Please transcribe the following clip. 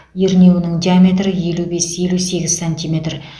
ернеуінің диаметрі елу бес елу сегіз сантиметр